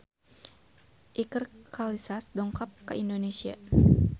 Iker Casillas dongkap ka Indonesia